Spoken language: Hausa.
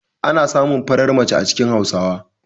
Ana samun farar mace a cikin Hausawa.